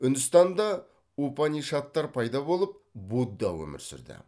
үндістанда упанишадтар пайда болып будда өмір сүрді